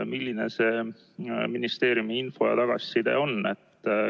Milline on ministeeriumi info ja tagasiside?